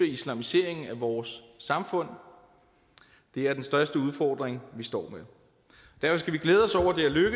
islamiseringen af vores samfund det er den største udfordring vi står med derfor skal vi glæde